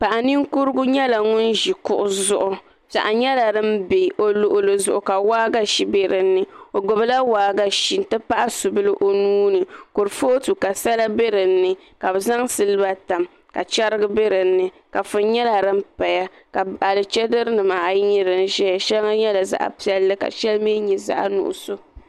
Paɣa ninkurigu nyɛla ŋun ʒi kuɣi zuɣu piɛɣu nyɛla din ʒɛ o luɣuli zuɣu ka waagashe bɛ dinni o gbubila waagashe n ti pahi subili o nuuni kurifooti ka sala bɛ dinni ka bi zaŋ silba tam ka chɛrigi bɛ dinni kafuni nyɛla din paya ka alichɛdiri nimaa ayi nyɛ din ʒɛya shɛli nyɛla zaɣ piɛlli ka shɛli nyɛ zaɣ nuɣuso